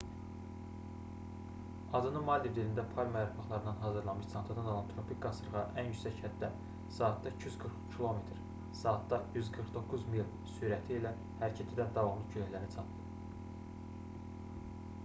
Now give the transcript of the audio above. adını maldiv dilində palma yarpaqlarından hazırlanmış çantadan alan tropik qasırğa ən yüksək həddə saatda 240 km saatda 149 mil sürəti ilə hərəkət edən davamlı küləklərə çatdı